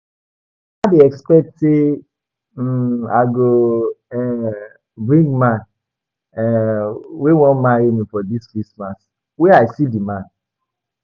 Mama dey expect say um I go um bring man um wey wan marry me for dis christmas, where I see the man?